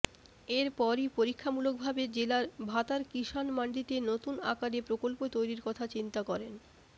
এরপরই পরীক্ষামূলকভাবে জেলার ভাতার কিষাণ মাণ্ডিতে নতুন আকারে প্রকল্প তৈরির কথা চিন্তা করেন